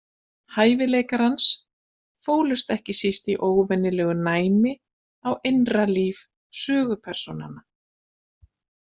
Hæfileikar hans fólust ekki síst í óvenjulegu næmi á innra líf sögupersónanna.